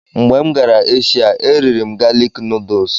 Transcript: Mgbe m gara Eshia, e riri m galik nuduls.